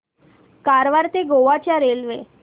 कारवार ते गोवा च्या रेल्वे